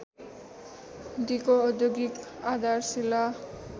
दिगो औद्योगिक आधारशीला